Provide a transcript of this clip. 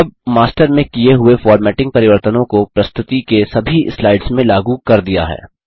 अब मास्टर में किए हुए फॉर्मेटिंग परिवर्तनों को प्रस्तुति के सभी स्लाइड्स में लागू कर दिया है